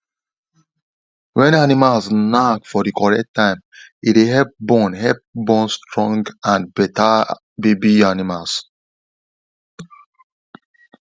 when animals knack for the correct time e dey help born help born stronge and better baby animals